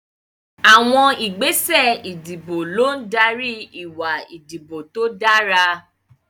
Àwọn ìgbésẹ̀ ìdìbò ló ń darí ìwà ìdìbò tó dára.